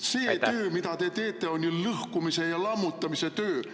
See töö, mida te teete, on ju lõhkumise ja lammutamise töö!